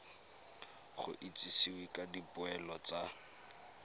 go itsisiwe ka dipoelo tsa